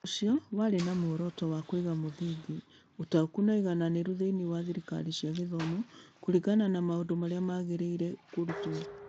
Ũndũ ũcio warĩ na muoroto wa kũiga mũthingi, ũtaũku, na ũigananĩru thĩinĩ wa thirikari cia gĩthomo kũringana na maũndũ marĩa magĩrĩire kũrutwo.